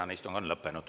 Tänane istung on lõppenud.